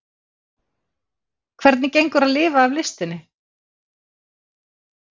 Þorbjörn: Hvernig gengur á að lifa af listinni?